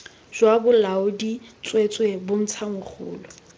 jwa bolaodi tsweetswee bontsha mogolo